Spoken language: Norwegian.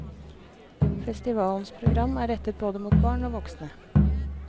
Festivalens program er rettet både mot barn og voksne.